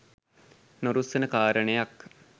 නොරුස්සන කාරණයක්